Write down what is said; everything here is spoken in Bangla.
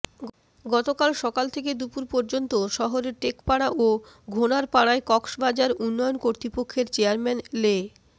গতকাল সকালে থেকে দুপুর পর্যন্ত শহরের টেকপাড়া ও ঘোনারপাড়ায় কক্সবাজার উন্নয়ন কর্তৃপক্ষের চেয়ারম্যান লে